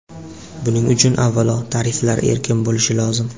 Buning uchun, avvalo, tariflar erkin bo‘lishi lozim.